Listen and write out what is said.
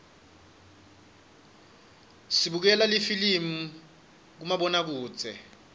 sibukela lifilimi kumabonakudze